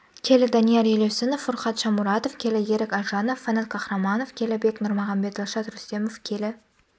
келі данияр елеусінов фуркат шамуратов келі ерік әлжанов фанат кахромонов келі бек нұрмағамбет дильшод рустемов келі